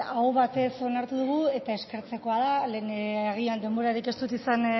aho batez onartu dugu eta eskertzekoa da lehen agian denborarik ez dut izan